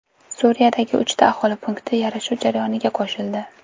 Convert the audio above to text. Suriyadagi uchta aholi punkti yarashuv jarayoniga qo‘shildi.